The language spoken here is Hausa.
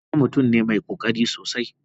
Isah mutum ne mai kokari sosai.